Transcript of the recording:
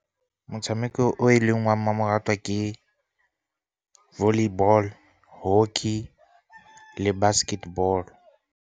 Motshameko o e leng wa mmamoratwa ke volleyball, hockey, le basketball.